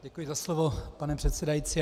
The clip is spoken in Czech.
Děkuji za slovo, pane předsedající.